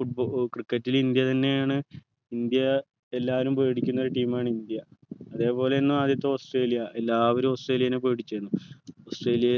football cricket ൽ India തന്നെയാണ് India എല്ലാരും പേടിക്കുന്നൊരു team ആണ് ഇന്ത്യ അതേപോലെ എന്ന് ആദ്യത്തെ ഓസ്‌ട്രേലിയ എല്ലാവരും ഓസ്‌ട്രേലിയെനെ പേടിച്ചിരുന്നു ഓസ്‌ട്രേലിയ